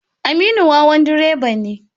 Aminu wawan direba ne.